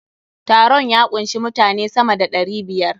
Taron ya kunshi mutane sama da ɗari biyar.